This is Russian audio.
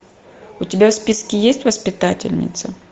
у тебя в списке есть воспитательница